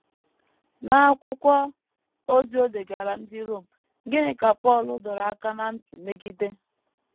N’akwụkwọ ozi o degaara ndị Rom, gịnị ka Pọl dọrọ aka ná ntị megide?